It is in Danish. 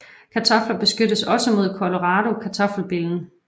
Kartofler beskyttes også mod Colorado kartoffelbillen